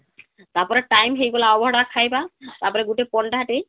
ତାପରେ time ହେଇଗଲା ଅଭଡ଼ା ଖାଇବାର ତାପରେ ଗୁଟେ ପଣ୍ଡା ଟେ